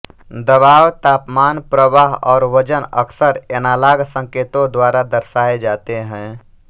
दबाव तापमान प्रवाह और वजन अक्सर एनालॉग संकेतों द्वारा दर्शाए जाते हैं